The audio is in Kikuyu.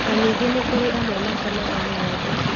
Na ningĩ nĩ kũrĩ amwe makamaga ng'ondu